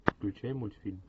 включай мультфильм